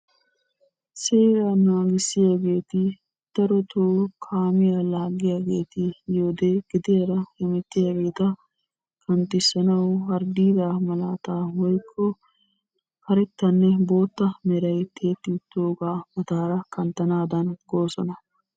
Seeraa naagissiyaageeti darotoo kaamiyaa laaggiyaageeti yiyode gediyaara hemettiyaageeta kanttissanawu harddiidaa malaata woyikko karettanne bootta meray tiyetti uttoogaa mataara kanttanaadan gootosona.